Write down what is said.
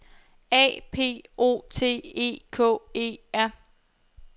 A P O T E K E R